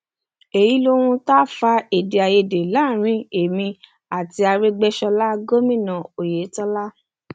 èyí lohun tó ń fa èdè àìyedè láàrin èmi àti aregbèsọlá gómìnà oyetola